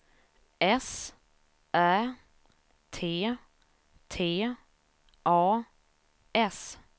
S Ä T T A S